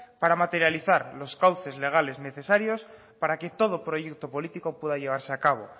para materializar los cauces legales necesarios para que todo proyecto político pueda llevarse a cabo